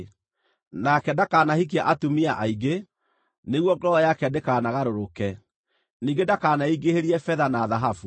Nake ndakanahikie atumia aingĩ, nĩguo ngoro yake ndĩkanagarũrũke. Ningĩ ndakaneingĩhĩrie betha na thahabu.